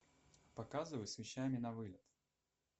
показывай с вещами на вылет